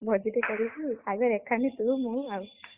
ଭୋଜିଟେ କରିକି ଆଉ ତୁ ମୁଁ ଆଉ।